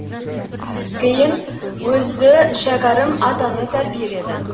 кейін өзі шәкәрім атаны тәрбиеледі